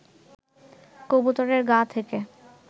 কবুতরের গা থেকে